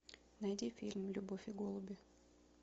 найди фильм любовь и голуби